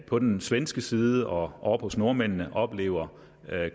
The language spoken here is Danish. på den svenske side og oppe hos nordmændene oplever